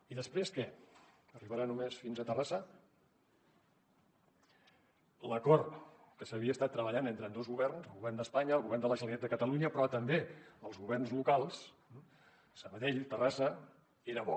i després què arribarà només fins a terrassa l’acord que s’havia estat treballant entre ambdós governs el govern d’espanya el govern de la generalitat de catalunya però també els governs locals sabadell terrassa era bo